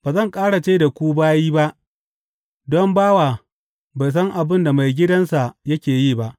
Ba zan ƙara ce da ku bayi ba, don bawa bai san abin da maigidansa yake yi ba.